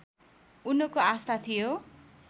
उनको आस्था थियो